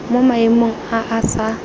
mo maemong a a sa